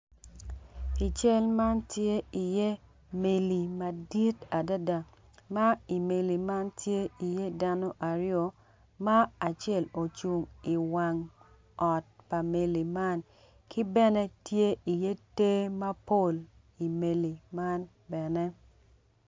I cal man tye iye meli madit adada ma i meli man tye iye dano aryo ma acel ocung i wang i wang ot pa meli man ki bene tye i ye ter mapol i meli man bene.